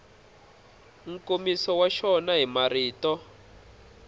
nkomiso wa xona hi marito